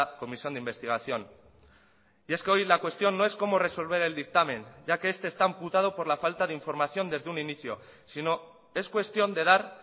comisión de investigación y es que hoy la cuestión no es cómo resolver el dictamen ya que este está amputado por la falta de información desde un inicio sino es cuestión de dar